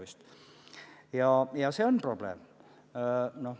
See on tõesti probleem.